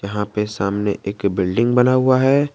यहां पे सामने एक बिल्डिंग बना हुआ है।